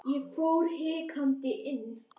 Ég fór hikandi inn.